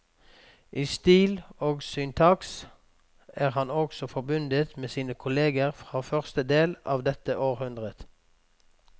I stil og syntaks er han også forbundet med sine kolleger fra første del av dette århundret.